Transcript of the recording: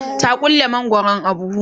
ta ƙulle mangwaron a buhu